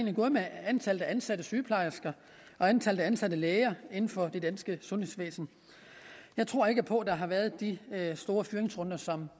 er gået med antallet af ansatte sygeplejersker og antallet af ansatte læger inden for det danske sundhedsvæsen jeg tror ikke på at der har været de store fyringsrunder som